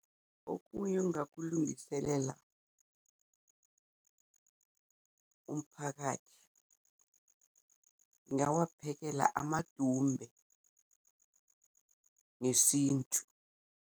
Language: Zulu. Okunye engingakulungiselela umphakathi ngingawaphekela amadumbe ngesintu.